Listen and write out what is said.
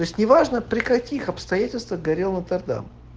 то есть не важно при каких обстоятельствах горел нотр дам